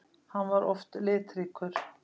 Hann var oft litríkur.